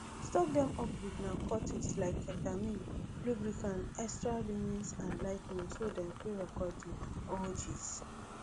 stock dem up wit narcotics like ketamine lubricant extra linens and lighting so dem fit record di orgies